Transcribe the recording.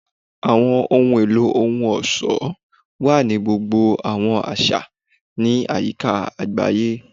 Awọn ohun elo ohun-ọṣọ wa ni gbogbo awọn aṣa ni ayika agbaye.